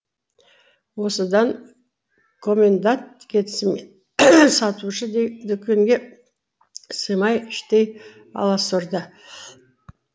осыдан комендант кетісімен сатушы дүкенге сыймай іштей аласұрды